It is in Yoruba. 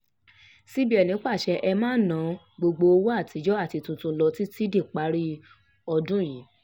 cbn pàṣẹ e máa ná gbogbo owó àtijọ́ àti tuntun lọ títí díparí ọdún yìí